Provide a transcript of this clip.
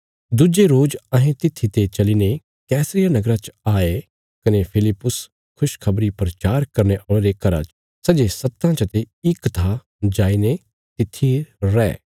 दुज्जे रोज अहें तित्थीते चलीने कैसरिया नगरा च आये कने फिलिप्पुस खुशखबरी प्रचार करने औल़े रे घरा च सै जे सत्तां चते इक था जाईने तित्थी रै